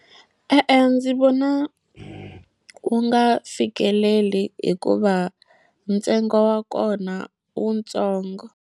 E-e ndzi vona wu nga fikeleli hikuva ntsengo wa kona i wutsongo.